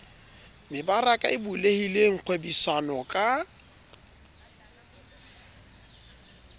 mebaraka e bulehileng kgwebisano ka